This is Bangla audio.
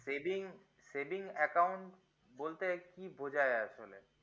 saving saving account বলতে কি বোঝায় আসলে